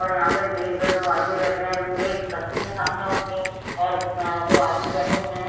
और यहाँ पर मेज में दो आदमी बैठे हैं मेज रखी है सामने उनके और म दो आदमी बैठे हुए हैं।